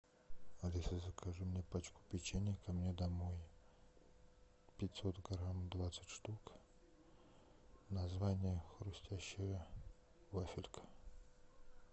алиса закажи мне пачку печенья ко мне домой пятьсот грамм двадцать штук название хрустящая вафелька